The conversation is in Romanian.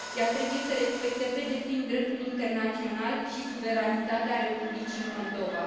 Ea trebuie să respecte pe deplin dreptul internațional și suveranitatea Republicii Moldova.